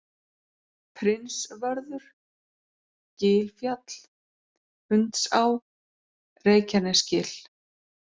Prinsvörður, Gilfjall, Hundsá, Reykjanesgil